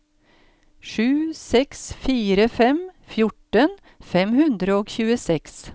sju seks fire fem fjorten fem hundre og tjueseks